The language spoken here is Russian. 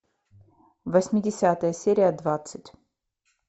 восьмидесятые серия двадцать